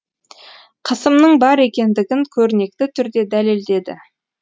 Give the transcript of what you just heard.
қысымның бар екендігін көрнекті түрде дәлелдеді